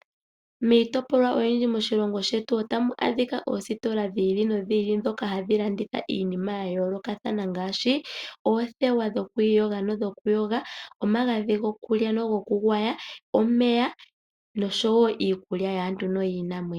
Miitopolwa oyindji moshilongo shetu otamu adhika oositola dhi ili nodhi ili ndhoka hadhi landitha iinima ya yoolokathana ngaashi: oothewa dhokwiiyoga nodhokuyoga, omagadhi gokulya nogokugwaya, omeya nosho wo iikulya yaantu noyiinamwenyo.